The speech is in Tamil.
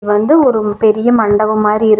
வந்து ஒரு பெரிய மண்டபம் மாரி இருக்கு.